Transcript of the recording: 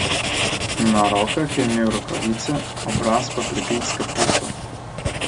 Na rokah je imel rokavice, obraz pa prekrit s kapuco.